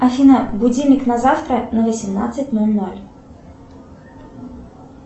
афина будильник на завтра на восемнадцать ноль ноль